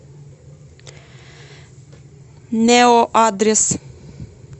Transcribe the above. нео адрес